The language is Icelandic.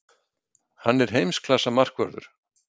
Hann er heimsklassa markvörður.